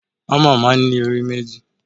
Hámà máa ń ní orí méjì.